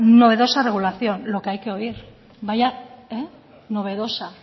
novedosa regulación lo que hay que oír vaya novedosa